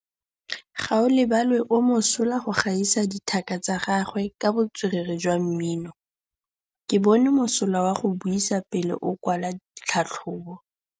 Gaolebalwe o mosola go gaisa dithaka tsa gagwe ka botswerere jwa mmino. Ke bone mosola wa go buisa pele o kwala tlhatlhobô.